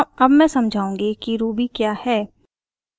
अब मैं समझाऊँगी कि ruby क्या है